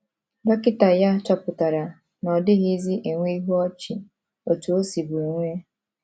Dọkịta ya chọpụtara na ọ dịghịzi enwe ihu ọchị otú o sibu enwe.